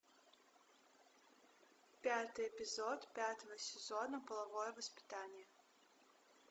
пятый эпизод пятого сезона половое воспитание